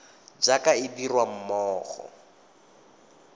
jaaka e dirwa mo go